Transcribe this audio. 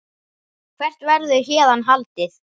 Hvert verður héðan haldið?